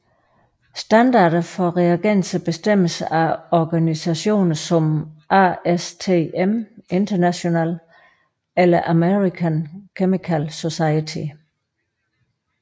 Standarder for reagenser bestemmes af organisationer som ASTM International eller American Chemical Society